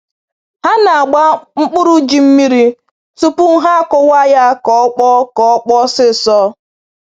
Ha na-agba mkpụrụ ji mmiri tupu ha kụwaa ya ka ọ kpọọ ka ọ kpọọ ọsọ ọsọ